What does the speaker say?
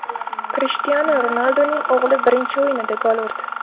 Krishtianu Ronalduning o‘g‘li birinchi o‘yinida gol urdi.